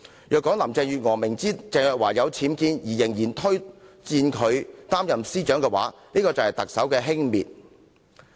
如果林鄭月娥明知鄭若驊家有僭建物也推薦她擔任司長，便是特首輕蔑律政司司長一職。